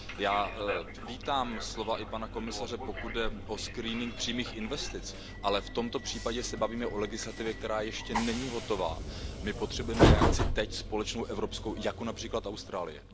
Já vítám i slova pana komisaře, pokud jde o screening přímých investic, ale v tomto případě se bavíme o legislativě, která ještě není hotová, my potřebujeme reakci teď, společnou, evropskou, jako například Austrálie.